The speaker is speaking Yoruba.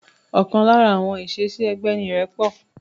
Ọ̀kan lára àwọn ìṣesí ẹgbẹ́ ni irẹpọ̀